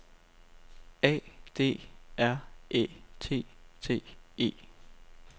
A D R Æ T T E